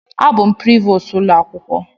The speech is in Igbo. Abụ m Prevost ụlọ akwụkwọ.